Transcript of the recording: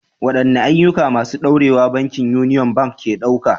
Waɗanne ayyuka masu ɗorewa bankin Union Bank ke ɗauka?